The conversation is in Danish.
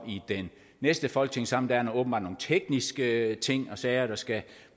i den næste folketingssamling åbenbart nogle tekniske ting og sager der skal